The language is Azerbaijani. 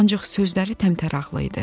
Ancaq sözləri təmtəraqlı idi.